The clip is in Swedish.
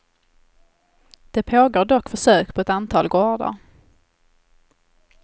Det pågår dock försök på ett antal gårdar.